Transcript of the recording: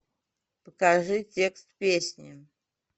покажи текст песни